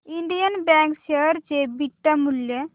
Indian Bank share चे beta मूल्य